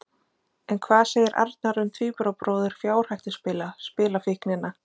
En hvað segir Arnar um tvíburabróður fjárhættuspila, spilafíknina?